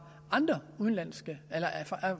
andre